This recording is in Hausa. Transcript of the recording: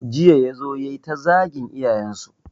Jiya ya zo yayi ta zagin iyayen su